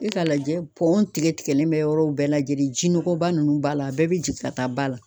E ka lajɛ pɔn tigɛ tigɛlen bɛ yɔrɔw bɛɛ lajɛlen ji nɔgɔba ninnu b'a la a bɛɛ bɛ jigin ka taa ba la.